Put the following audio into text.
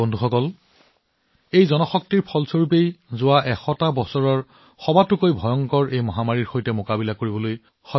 বন্ধুসকল এয়া হৈছে জনশক্তিৰ শক্তি ভাৰতে ১০০ বছৰৰ ভিতৰত আটাইতকৈ ডাঙৰ মহামাৰীৰ বিৰুদ্ধে যুঁজিব পৰাটো সকলোৰে প্ৰচেষ্টা